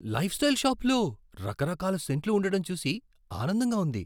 Lifestyle షాపులో రకరకాల సెంట్లు ఉండటం చూసి ఆనందంగా ఉంది.